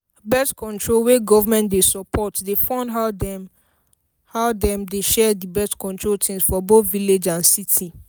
birth-control wey government dey support dey fund how dem how dem dey share the birth-control things for both village and city